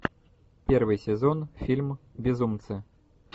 первый сезон фильм безумцы